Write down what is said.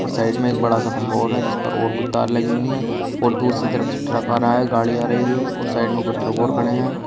और साइड में एक बड़ा सा खम्भा और है जिस पर औऱ कुछ तार लगी हुई हैं और दूसरी तरफ से ट्रक आ रहा हैं गाड़ी आ रही है और साइड में कुछ ट्रक और खड़े हैं।